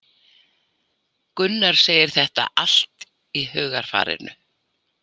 Gunnar segir þetta allt í hugarfarinu.